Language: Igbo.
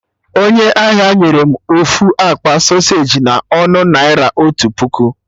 Onye ahịa nyere m ofu akpa sọseji na ọnụ naira otu puku